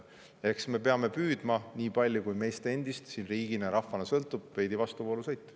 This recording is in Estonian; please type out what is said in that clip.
Eks me peame püüdma – nii palju, kui meist endist siin riigina, rahvana sõltub – veidi vastuvoolu sõita.